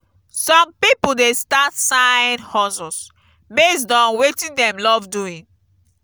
some pipo dey start side-hustles based on wetin dem love doing.